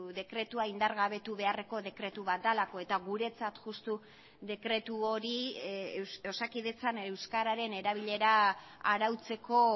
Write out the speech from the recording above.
dekretua indargabetu beharreko dekretu bat delako eta guretzat justu dekretu hori osakidetzan euskararen erabilera arautzeko